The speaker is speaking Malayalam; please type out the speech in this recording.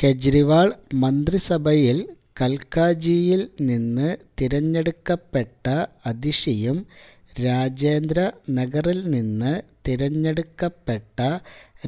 കെജ്രിവാള് മന്ത്രിസഭയില് കല്ക്കാജിയില് നിന്ന് തിരഞ്ഞെടുക്കപ്പെട്ട അതിഷിയും രാജേന്ദ്ര നഗറില് നിന്ന് തിരഞ്ഞെടുക്കപ്പെട്ട